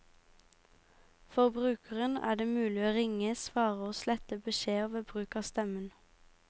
For brukeren er det mulig å ringe, svare og slette beskjeder ved bruk av stemmen.